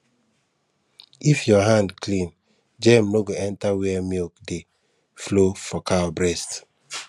if your hand clean germ no go enter where milk dey flow for cow breast